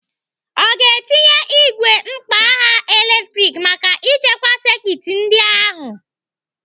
Ọ ga-etinye igwe mkpagha latrik maka ichekwa sekit ndị a ahụ?